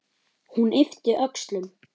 Hún yppti öxlum.